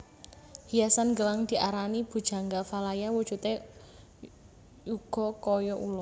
Hiasan gelang diarani Bhujangga Valaya wujudé uga kaya ula